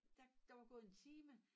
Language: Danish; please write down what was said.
Da der var gået en time